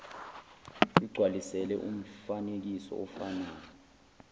igcwalisele umfanekiso ofana